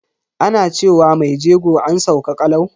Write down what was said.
Ana ce wa mai jego "an sauka kalau".